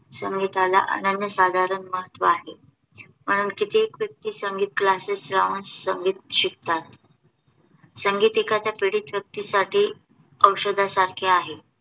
संगीताला अनन्य साधारण महत्व आहे म्हणून कित्येक व्यक्ती संगीत CLASSES लावून संगीत शिकतात. संगीत एखाद्या पीडित व्यक्तीसाठी औषधासारखे आहे